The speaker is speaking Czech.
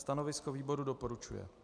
Stanovisko výboru: doporučuje.